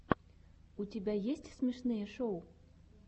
у тебя есть смешные шоу